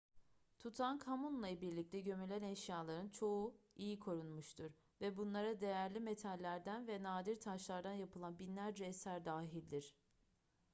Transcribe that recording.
tutankhamun'la birlikte gömülen eşyaların çoğu iyi korunmuştur ve bunlara değerli metallerden ve nadir taşlardan yapılan binlerce eser dahildir